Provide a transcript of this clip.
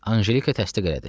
Anjelika təsdiq elədi.